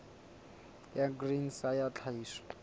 ya grain sa ya tlhahiso